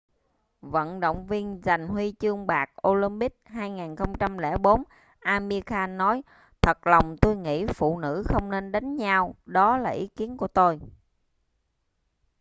vận động viên giành huy chương bạc olympic 2004 amir khan nói thật lòng tôi nghĩ phụ nữ không nên đánh nhau đó là ý kiến của tôi